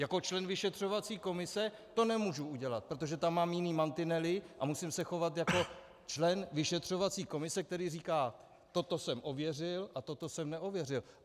Jako člen vyšetřovací komise to nemůžu udělat, protože tam mám jiné mantinely a musím se chovat jako člen vyšetřovací komise, který říká, toto jsem ověřil, a toto jsem neověřil.